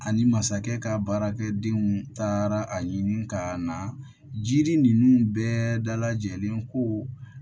Ani masakɛ ka baarakɛdenw taara a ɲini ka na jiri ninnu bɛɛ lajɛlen ko